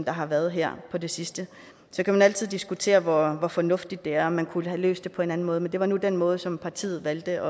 har været her på det sidste så kan man altid diskutere hvor fornuftigt det er og om man kunne have løst det på en anden måde men det var nu den måde som partiet valgte